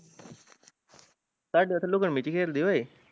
ਤੁਹਾਡੇ ਉੱਥੇ ਲੁਕਣ ਮਿਟੀ ਖੇਲਦੇ ਓਏ